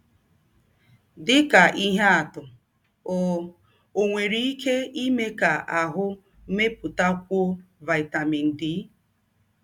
Dị ka ihe atụ, ọ, ọ nwere ike ime ka ahụ́ mepụtakwụọ vitamin D.